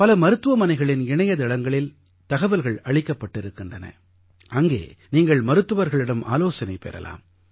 பல மருத்துவமனைகளின் இணையதளங்களில் தகவல்கள் அளிக்கப்பட்டிருக்கின்றன அங்கே நீங்கள் மருத்துவர்களிடம் ஆலோசனை பெறலாம்